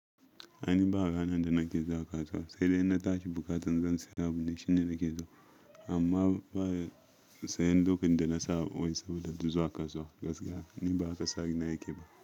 Ani ba haka na da nake zaƙa suwa, sai dai na tashi bukatan zan saya labule, shin ne nake so? Amma baya sayen duk inda na sawo ne saboda duzuwa kasuwa gaskiya ni ba haka sani na yake ba.